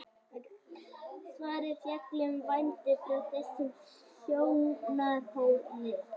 svarið fjallar um vændi frá þessum sjónarhóli